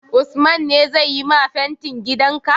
Usman ne zai yi ma fentin gidan ka?